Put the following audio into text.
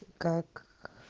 как